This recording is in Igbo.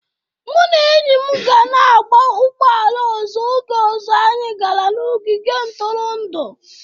Mụ na enyi m ga na-agba ụgbọ ala ọzọ oge ọzọ anyị gara n'ogige ntụrụndụ.